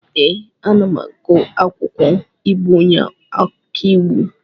Ee, anam agụ akwụkwọ ịbụ onye ọkàiwu.